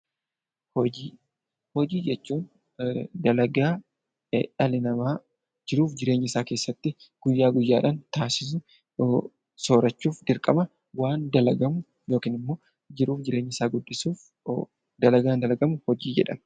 Hojii: Hojii jechuun dalagaa dhalli namaa jiruuf jireenya isaa keessatti guyyaa guyyaan taasisu. Soorachuuf dirqama kan dalagamu, jiruuf jireenya isaa guddisuuf dalagaan dalagamu hojii jedhama.